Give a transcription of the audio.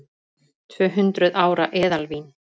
Tvöhundruð ára eðalvín